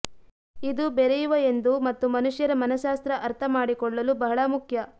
ಇದು ಬೆರೆಯುವ ಎಂದು ಮತ್ತು ಮನುಷ್ಯರ ಮನಃಶಾಸ್ತ್ರ ಅರ್ಥಮಾಡಿಕೊಳ್ಳಲು ಬಹಳ ಮುಖ್ಯ